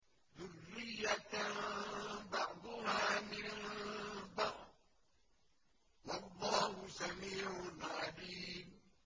ذُرِّيَّةً بَعْضُهَا مِن بَعْضٍ ۗ وَاللَّهُ سَمِيعٌ عَلِيمٌ